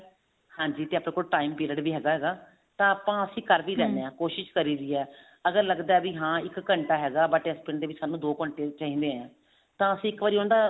ਹਾਂਜੀ ਤੇ ਆਪਣੇ ਕੋਲ time period ਵੀ ਹੈਗਾ ਹੈਗਾ ਤਾਂ ਆਪਾਂ ਅਸੀਂ ਕਰ ਵੀ ਹਾਂ ਕੋਸ਼ਿਸ਼ ਕਰੀਦੀ ਹੈ ਅਗਰ ਲੱਗਦਾ ਵੀ ਹਾਂ ਇੱਕ ਘੰਟਾ ਹੈਗਾ but ਇਸ ਪਿੰਡ ਦੇ ਵਿੱਚ ਸਾਨੂੰ ਦੋ ਘੰਟੇ ਚਾਹੀਦੇ ਨੇ ਤਾਂ ਅਸੀਂ ਇੱਕ ਵਾਰੀ ਉਹਦਾ